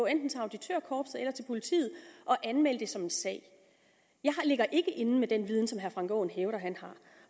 enten auditørkorpset eller til politiet og anmelde det som en sag jeg ligger ikke inde med den viden som herre frank aaen hævder at have